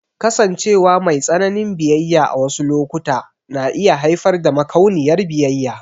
Kasancewa mai tsananin biyayya a wasu lokuta na iya haifar da makauniyar biyayya.